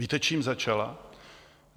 Víte, čím začala?